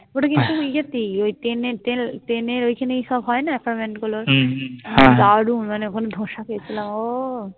ওটা কিন্তু ইয়েতেই ওই Train Train Train ওইখানেই সব হয় না Apartment গুলোর দারুন. মানে ওখানে ধোসা খেয়েছিলাম ও